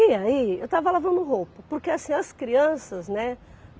E aí, eu estava lavando roupa, porque assim, as crianças, né?